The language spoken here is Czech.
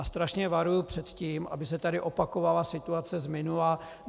A strašně varuju před tím, aby se tady opakovala situace z minula.